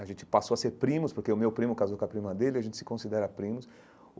A gente passou a ser primos, porque o meu primo casou com a prima dele, a gente se considera primos.